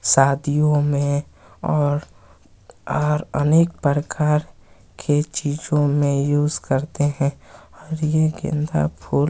शादियों मे और अनेक परकार के चीजों मे यूज करते है और ये गेंदा फूल--